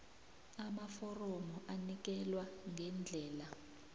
amaforomo anikelwa ngendlela